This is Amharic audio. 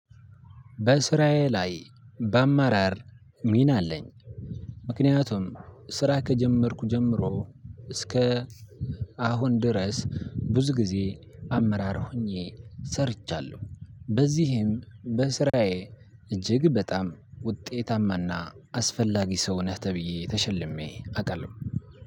በስራዬ ላይ በአመራር ሚና አለኝ። ምክንያቱም ስራ ከጀመርኩ ጀምሮ እስከ አሁን ድረስ ብዙ ጊዜ አመራር ሆኜ ሰርቻለሁ። በዚህም በስራዬ እጅግ በጣም ውጤታማና አስፈላጊ ሰው ነህ ተብዬ ተሸልሜ አውቃለሁ።